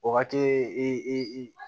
O wagati i i i